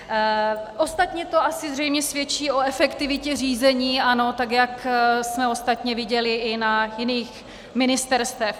Ostatně to asi zřejmě svědčí o efektivitě řízení ANO, tak jak jsme ostatně viděli i na jiných ministerstvech.